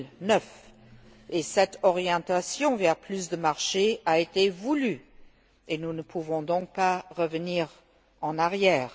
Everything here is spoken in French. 2009. Cette orientation vers plus de marché a été voulue, et nous ne pouvons donc pas revenir en arrière.